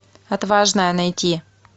отважная найти